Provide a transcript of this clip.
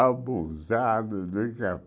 Abusado de